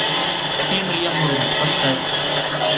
фильм илья муромец поставь